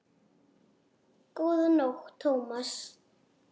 Góða nótt, Thomas